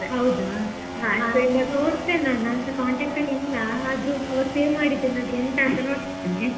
ಹೌದಾ, ನೋಡ್ತೇನೆ ನಾನು, ನಾನ್ಸ contact ಅಲ್ಲಿ ಇಲ್ಲಾ. ಆದ್ರೂ ಆವತ್ save ಮಾಡಿದ್ದೇ ನಾದ್ರು ಉಂಟಾ ಅಂತಾ ನೋಡ್ತೇನೆ.